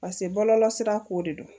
Paseke bɔlɔlɔ sira ko de don